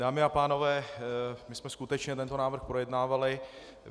Dámy a pánové, my jsme skutečně tento návrh projednávali.